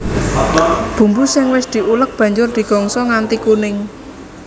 Bumbu sing wis diulek banjur digongso nganti kuning